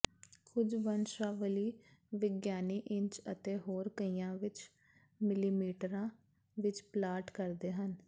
ਕੁਝ ਵੰਸ਼ਾਵਲੀ ਵਿਗਿਆਨੀ ਇੰਚ ਅਤੇ ਹੋਰ ਕਈਆਂ ਵਿਚ ਮਿਲੀਮੀਟਰਾਂ ਵਿਚ ਪਲਾਟ ਕਰਦੇ ਹਨ